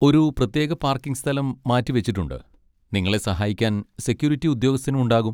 ഒരു പ്രത്യേക പാർക്കിംഗ് സ്ഥലം മാറ്റിവെച്ചിട്ടുണ്ട്, നിങ്ങളെ സഹായിക്കാൻ സെക്യൂരിറ്റി ഉദ്യോഗസ്ഥനും ഉണ്ടാകും.